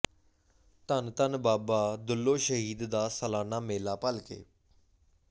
ਧੰਨ ਧੰਨ ਬਾਬਾ ਦੁੱਲੋ ਸ਼ਹੀਦ ਦਾ ਸਾਲਾਨਾ ਮੇਲਾ ਭਲਕੇ